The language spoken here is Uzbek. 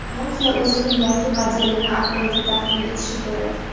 Nokia o‘zining yangi modelini aprelda taqdim etishi kerak.